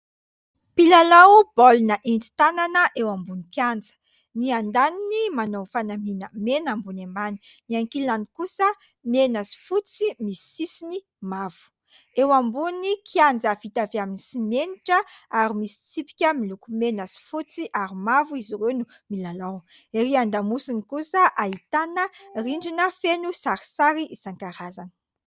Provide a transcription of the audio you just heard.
Mpilalao baolina entin-tanana eo ambon'ny kianja : ny andaniny manao ny fanamiana mena ambony ambany, ny ankilany kosa mena sy fotsy misy sisiny mavo, eo ambony kianja vita avy amin'ny simenitra ary misy tsipika miloko mena sy fotsy ary mavo izy ireo no milalao ; ery an-damosiny kosa ahitana rindrina feno sarisary isankarazany.